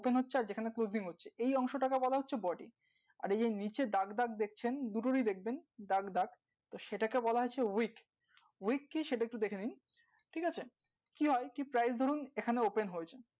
open হচ্ছে আর যে খানে closing হচ্ছে এই অংশটাকে বলা হচ্ছে body আর এই যে নিচে দাগ দাগ দেখছেন দুটোরি দেখবেন দাগ দাগ তো সেটাকে বলা হচ্ছে ও সেটাকে বলা হচ্ছে week week কি সেটা একটু দেখে নিন ঠিক আছে কি হয় কি price ধরুন এখানে open হয়েছে